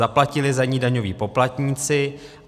Zaplatili za ni daňoví poplatníci.